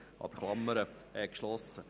Damit ist die Klammer geschlossen.